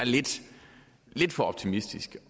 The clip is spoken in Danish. lidt for optimistisk